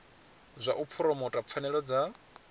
zwa u phuromotha pfanelo dza